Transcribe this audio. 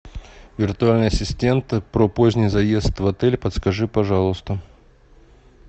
виртуальный ассистент про поздний заезд в отель подскажи пожалуйста